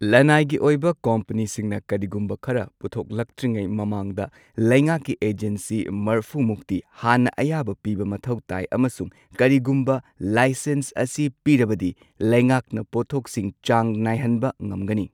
ꯂꯅꯥꯏꯒꯤ ꯑꯣꯏꯕ ꯀꯝꯄꯅꯤꯁꯤꯡꯅ ꯀꯔꯤꯒꯨꯝꯕ ꯈꯔ ꯄꯨꯊꯣꯛꯂꯛꯇ꯭ꯔꯤꯉꯩ ꯃꯃꯥꯡꯗ ꯂꯩꯉꯥꯛꯀꯤ ꯑꯦꯖꯦꯟꯁꯤ ꯃꯔꯐꯨ ꯃꯨꯛꯇꯤ ꯍꯥꯟꯅ ꯑꯌꯥꯕ ꯄꯤꯕ ꯃꯊꯧ ꯇꯥꯏ ꯑꯃꯁꯨꯡ, ꯀꯔꯤꯒꯨꯝꯕ ꯂꯥꯏꯁꯦꯟꯁ ꯑꯁꯤ ꯄꯤꯔꯕꯗꯤ, ꯂꯩꯉꯥꯛꯅ ꯄꯣꯠꯊꯣꯛꯁꯤꯡ ꯆꯥꯡ ꯅꯥꯏꯍꯟꯕ ꯉꯝꯒꯅꯤ꯫